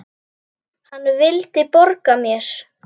Hann vildi borga mér!